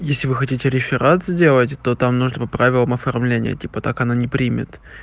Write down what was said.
если вы хотите реферат сделать то там нужно по правилам оформления типа так она не примет